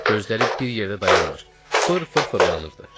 Gözləri bir yerdə dayanmır, fır-fır fırlanırdı.